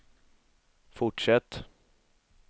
fortsätt